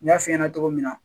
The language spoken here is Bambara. N y'a f'i ɲɛna cogo min na